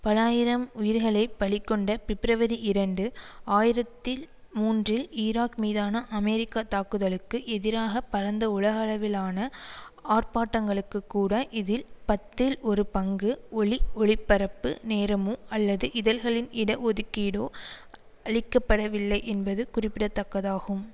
பல ஆயிரம் உயிர்களை பலி கொண்ட பிப்ரவரி இரண்டு ஆயிரத்தி மூன்றில் ஈராக் மீதான அமெரிக்க தாக்குதலுக்கு எதிராக பரந்த உலகளவிலான ஆர்ப்பாட்டங்களுக்கு கூட இதில் பத்தில் ஒரு பங்கு ஒலிஒளிபரப்பு நேரமோ அல்லது இதழ்களில் இட ஒதுக்கீடோ அளிக்க படவில்லை என்பது குறிப்பிடத்தக்கதாகும்